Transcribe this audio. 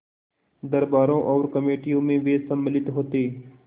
दरबारों और कमेटियों में वे सम्मिलित होते